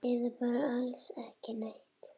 Eða bara alls ekki neitt?